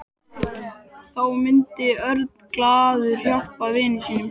Þá myndi Örn glaður hjálpa vini sínum.